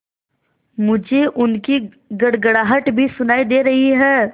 मुझे उनकी गड़गड़ाहट भी सुनाई दे रही है